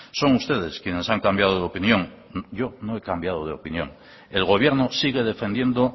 son ustedes quienes han cambiado de opinión yo no he cambiado de opinión el gobierno sigue defendiendo